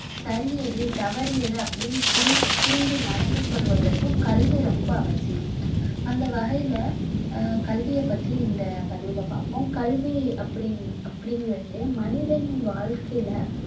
சரி எது தவறு எது அப்படின்னு புரிஞ்~ புரிஞ்சு நடந்து கொள்வதற்கும் கல்வி ரொம்ப அவசியம் அந்த வகையில ஹம் கல்வியை பற்றி இந்த பதிவில பார்ப்போம் கல்வி அப்படிங்~ அப்படிங்கிறது மனிதனின் வாழ்க்கையில